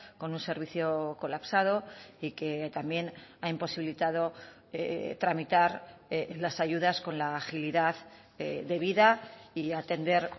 con un servicio colapsado y que también ha imposibilitado tramitar las ayudas con la agilidad debida y atender